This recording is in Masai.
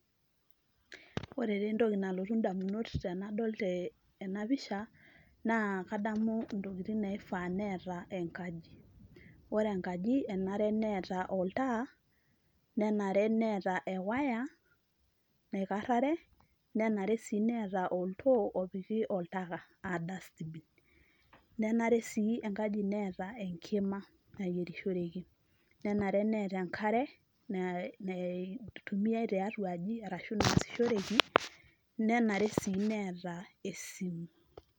Ore taa entoki nalotu damunot tenadol tena pisha naa kadamu intokitin naifaa neeta enkaji, ore enkaji enare neeta oltaa, nenare Neeta ewaya naikarrare, nenare siineeta oltoo pooki oltaka aa dustbin nenare sii enkaji Neeta enkima nayierishoreki, nenare neeta enkare nei neitumia tiatuaaji arashu naasishoreki, nenare sii neeta esink.